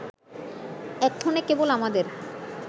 এক্ষণে কেবল আমাদের